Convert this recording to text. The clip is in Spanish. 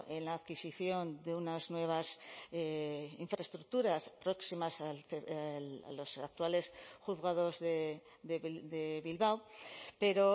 en la adquisición de unas nuevas infraestructuras próximas a los actuales juzgados de bilbao pero